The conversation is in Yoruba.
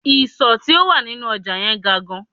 Ìsò tí ó wà nínú ọjà yẹn ga gan